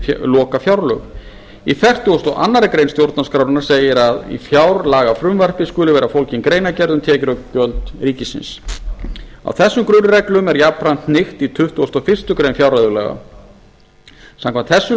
lokafjárlög í fertugustu og aðra grein stjórnarskrárinnar segir að í fjárlagafrumvarpi skuli vera fólgin greinargerð um tekjur ríkisins og gjöld á þessum grunnreglum er jafnframt hnykkt í tuttugasta og fyrstu grein fjárreiðulaga samkvæmt þessum